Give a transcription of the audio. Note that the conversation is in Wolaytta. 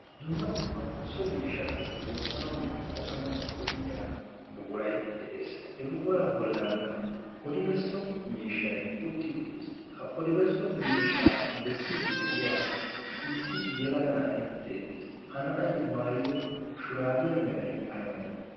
dumma dummaa so miishshata woottanaunne qosanau go'iya buquray de'ees he buquraa bollankka odibesso miishshay utti uttiis ha odibesso miishaa bessiidi de'iya issi yelaga na'ay beettees ha na'ay maayido shuraabiyaa meray ay malee